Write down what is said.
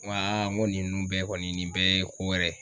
Ŋo ŋo ninun bɛɛ kɔni nin bɛɛ ye ko wɛrɛ